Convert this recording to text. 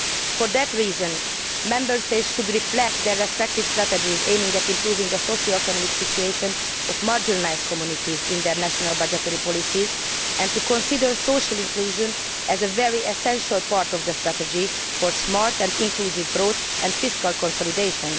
For that reason Members should reflect their respective strategies to improve the socio economic situation of marginalised communities in their national budgetary policies and consider social inclusion as a very essential part of the strategy for smart and inclusive growth and fiscal consolidation.